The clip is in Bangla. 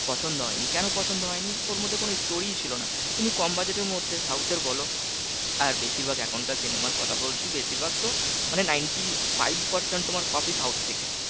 পছন্দ হয়নি কোন পছন্দ হয়নি? ওর মধ্যে কোন story ই ছিল না তুমি কম budget এর মধ্যে south এর বল আর বেশিরভাগ এখনকার cinema আর কথা বলছি বেশিরভাগ তো মানে ninety five percent তোমার copy south থেকে